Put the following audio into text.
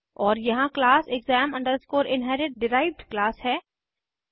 और यहाँ class exam inherit derived class है